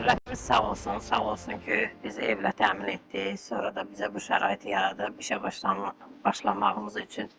Dövlətimiz sağ olsun, sağ olsun ki, bizi evlə təmin etdi, sonra da bizə bu şəraiti yaradıb işə başlamağımız üçün.